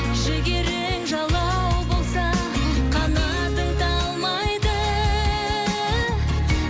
жігерің жалау болса қанатың талмайды